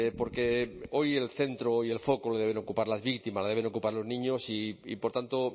porque hoy el centro hoy el foco lo deben ocupar las víctimas lo deben ocupar los niños y por tanto